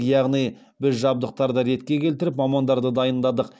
яғни біз жабдықтарды ретке келтіріп мамандарды дайындадық